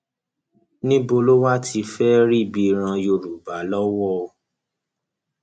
níbo lo wáá ti fẹẹ rí ibi ran yorùbá lọwọ o